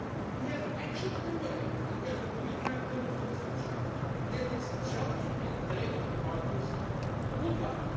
We have action under way and we have a clear timetable for the future. That is the challenge we can take to partners worldwide.